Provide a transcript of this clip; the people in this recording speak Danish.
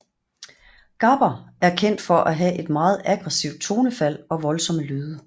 Gabber er kendt for at have et meget aggresivt tonefald og voldsomme lyde